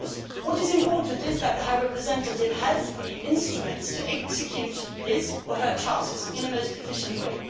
What is important is that the High Representative has the instruments to execute his or her tasks in the most efficient way.